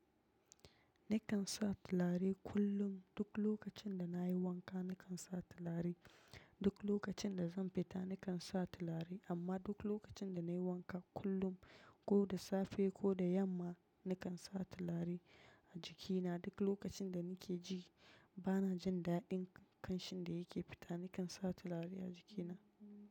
Nikan sa turare kullum. Duk lokacin da na yi wanka, nikan sa turare. Duk lokacin da zan fita, nikan sa turare. Amma duk lokacin da na yi wanka kullum, ko da safe ko da yamma, nikan sa turare a jikina. Duk lokacin da nake ji bana jin daɗin kamshin da yake fita nakan sa turare a jikina.